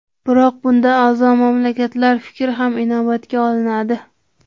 Biroq bunda a’zo mamlakatlar fikri ham inobatga olinadi.